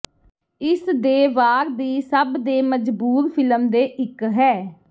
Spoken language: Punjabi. ਇਸ ਦੇ ਵਾਰ ਦੀ ਸਭ ਦੇ ਮਜਬੂਰ ਫਿਲਮ ਦੇ ਇੱਕ ਹੈ